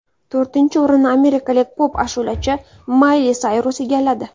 To‘rtinchi o‘rinni amerikalik pop-ashulachi Mayli Sayrus egalladi.